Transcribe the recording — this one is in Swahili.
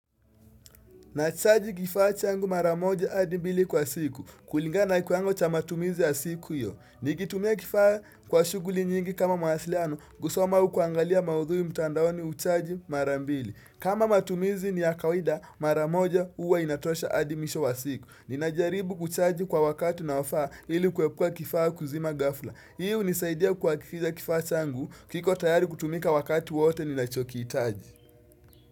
Nachaji kifaa changu maramoja adimbili kwa siku. Kulingana ikuango cha matumizi ya siku hiyo Nikitumia kifaa kwa shuguli nyingi kama mawasiliano, kusoma au kuangalia maudhui mtandaoni uchaji marambili. Kama matumizi ni ya kawida maramoja uwa inatosha adi mwisho wa siku. Ninajaribu kuchaji kwa wakati unaowafa ili kwepuwa kifaa kuzima gafla. Hii unisaidia kwa kifaa changu kiko tayari kutumika wakati wote ni nachokitaji.